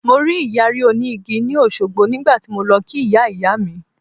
Mo rí Ìyàrí òní igi ni Òṣogbo nígbà tí mo lọ kí Ìyá Ìyá mi.